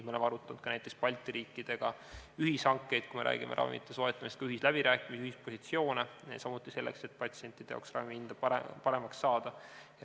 Me oleme arutanud näiteks Balti riikidega ühishankeid, kui me räägime ravimite soetamisel ühisläbirääkimistest, ühispositsioonidest, samuti sellest, et patsientidele ravimihinda paremaks saada.